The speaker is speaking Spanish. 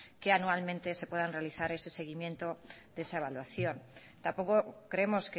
que anualmente se puedan realizar ese seguimiento de esa evaluación tampoco creemos